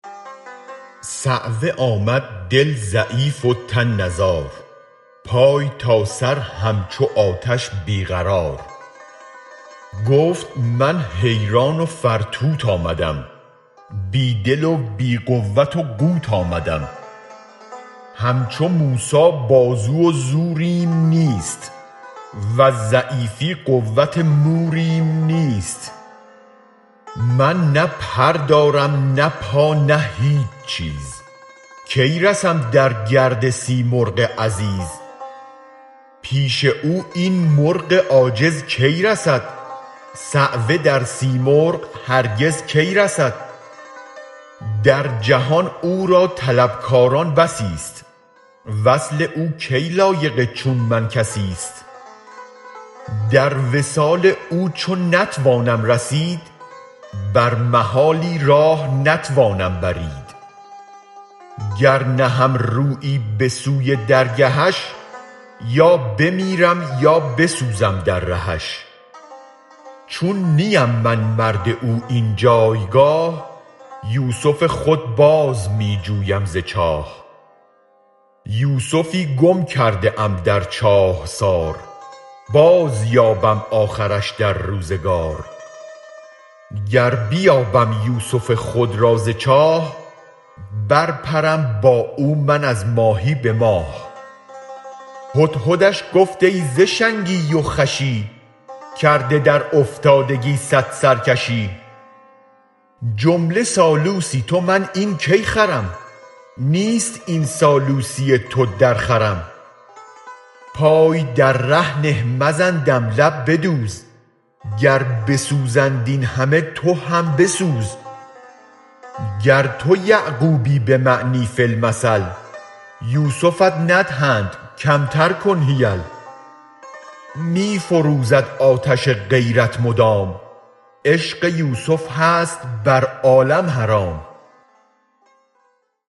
صعوه آمد دل ضعیف و تن نزار پای تا سر همچو آتش بی قرار گفت من حیران و فرتوت آمدم بی دل و بی قوت و قوت آمدم همچو موسی بازو و زوریم نیست وز ضعیفی قوت موریم نیست من نه پر دارم نه پا نه هیچ نیز کی رسم در گرد سیمرغ عزیز پیش او این مرغ عاجز کی رسد صعوه در سیمرغ هرگز کی رسد در جهان او را طلب کاران بسی ست وصل او کی لایق چون من کسی ست در وصال او چو نتوانم رسید بر محالی راه نتوانم برید گر نهم رویی به سوی درگهش یا بمیرم یا بسوزم در رهش چون نیم من مرد او این جایگاه یوسف خود باز می جویم ز چاه یوسفی گم کرده ام در چاهسار بازیابم آخرش در روزگار گر بیابم یوسف خود را ز چاه بر پرم با او من از ماهی به ماه هدهدش گفت ای ز شنگی و خوشی کرده در افتادگی صد سرکشی جمله سالوسی تو من این کی خرم نیست این سالوسی تو درخورم پای در ره نه مزن دم لب بدوز گر بسوزند این همه تو هم بسوز گر تو یعقوبی به معنی فی المثل یوسفت ندهند کمتر کن حیل می فروزد آتش غیرت مدام عشق یوسف هست بر عالم حرام